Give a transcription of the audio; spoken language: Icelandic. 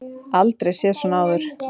Aldrei séð svona áður.